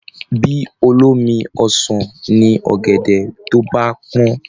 Bí olómi ọsàn ni ọ̀gẹ̀dẹ̀ tó bá pọ́n